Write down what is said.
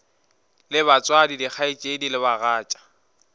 le batswadi dikgaetšedi le bagatša